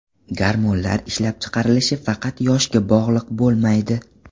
Gormonlar ishlab chiqarilishi faqat yoshga bog‘liq bo‘lmaydi.